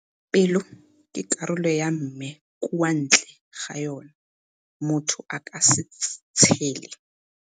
Pelo ke karolo ya mme kwa ntle ga yona, motho aka se tshele.